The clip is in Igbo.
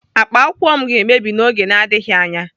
Akpa akwụkwọ m ga-emebi n'oge na-adịghị anya.